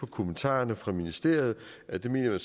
kommentarerne fra ministeriet at det mener